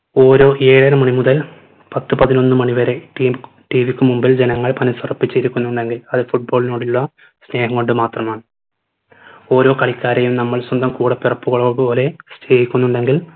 ഓരോ ഏഴര മണി മുതൽ പത്ത് പതിനൊന്ന് മണി വരെ ടിൻ കു TV ക്കു മുമ്പിൽ ജനങ്ങൾ മനസുറപ്പിച്ച് ഇരിക്കുന്നുണ്ടെങ്കിൽ അത് football ഇനോടുള്ള സ്നേഹം കൊണ്ട് മാത്രമാണ് ഓരോ കളിക്കാരെയും നമ്മുടെ സ്വന്തം കൂടപ്പിറപ്പ്കളെ പോലെ സ്നേഹിക്കുന്നുണ്ടെങ്കിൽ